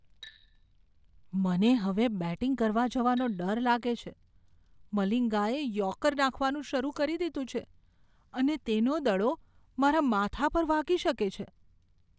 મને હવે બેટિંગ કરવા જવાનો ડર લાગે છે. મલિંગાએ યૉર્કર નાખવાનું શરૂ કરી દીધું છે અને તેનો દડો મારા માથા પર વાગી શકે છે.